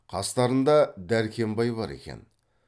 қастарында дәркембай бар екен